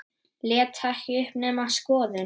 Lét ekki uppi neina skoðun.